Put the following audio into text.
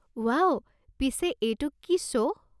Wow, পিছে এইটো কি শ্ব' ?